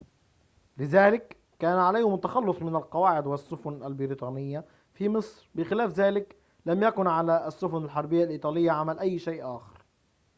لذلك كان عليهم التخلّص من القواعد والسفن البريطانيّة في مصر بخلاف ذلك لم يكن على السفن الحربيّة الإيطالية عمل أي شيء آخر